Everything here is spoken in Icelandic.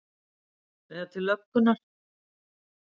Eða til löggunnar?